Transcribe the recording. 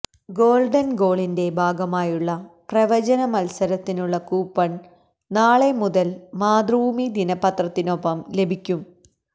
golden ഗോളിന്റെ ഭാഗമായുള്ള പ്രവചന മത്സരത്തിനുള്ള കൂപ്പണ് നാളെ മുതല് മാതൃഭൂമി ദിനപത്രത്തിനൊപ്പം ലഭിക്കും